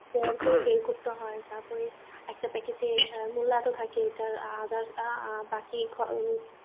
গড় করে বের করতে হয় তারপরে একটা packet এ মুলা এত থাকে তারপরে others অ্যাঁ বাকি খ